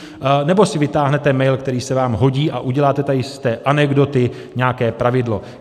Nebo si vytáhnete mail, který se vám hodí, a uděláte tady z té anekdoty nějaké pravidlo?